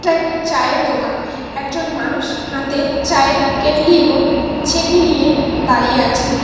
এটা একটি চায়ের দোকান একজন মানুষ হাতে চায়ের কেটলি এবং ছেকনি নিয়ে দাঁড়িয়ে আছে।